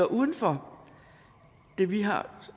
uden for det vi har